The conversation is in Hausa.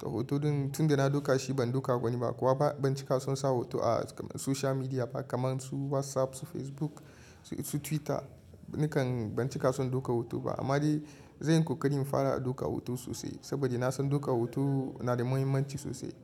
Da hoto ɗin tunda na dauka shi ban dauka wani ba, kuwa ba ban cika son sa hoto a social media ba kamar su WhatsApp, su Facebook, su Twitter. Nikan ban cika son daukar hoto ba, amma dai zanyi ƙoƙari na fara daukar hoto sosai, saboda na san daukar hoto na da muhimmanci sosai.